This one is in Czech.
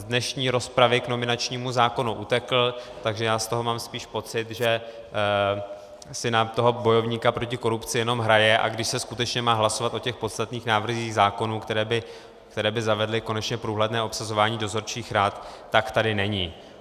Z dnešní rozpravy k nominačnímu zákonu utekl, takže já z toho mám spíš pocit, že si na toho bojovníka proti korupci jenom hraje, a když se skutečně má hlasovat o těch podstatných návrzích zákonů, které by zavedly konečně průhledné obsazování dozorčích rad, tak tady není.